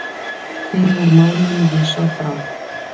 Því var málinu vísað frá.